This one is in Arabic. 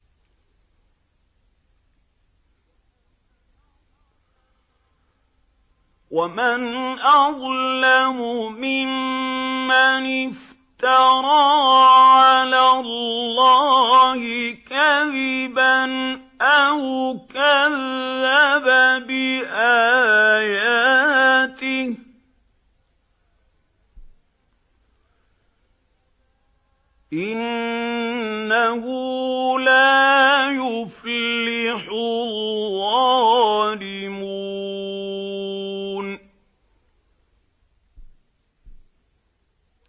وَمَنْ أَظْلَمُ مِمَّنِ افْتَرَىٰ عَلَى اللَّهِ كَذِبًا أَوْ كَذَّبَ بِآيَاتِهِ ۗ إِنَّهُ لَا يُفْلِحُ الظَّالِمُونَ